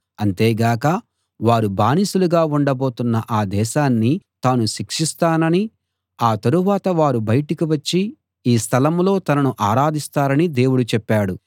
అంతేగాక వారు బానిసలుగా ఉండబోతున్న ఆ దేశాన్ని తాను శిక్షిస్తాననీ ఆ తరువాత వారు బయటికి వచ్చి ఈ స్థలం లో తనను ఆరాధిస్తారనీ దేవుడు చెప్పాడు